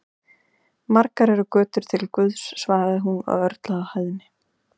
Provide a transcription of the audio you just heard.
Margar eru götur til Guðs, svaraði hún og örlaði á hæðni.